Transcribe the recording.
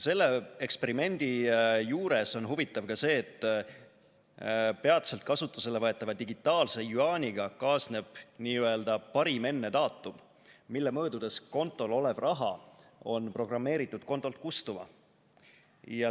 Selle eksperimendi juures on huvitav ka see, et peatselt kasutusele võetava digitaalse jüaaniga kaasneb n‑ö parim‑enne‑daatum, mille möödudes kontol olev raha on programmeeritud kontolt kustuma.